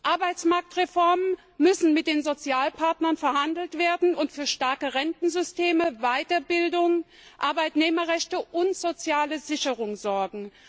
Arbeitsmarktreformen müssen mit den Sozialpartnern verhandelt werden und für starke Rentensysteme, Weiterbildung, Arbeitnehmerrechte und soziale Sicherung sorgen.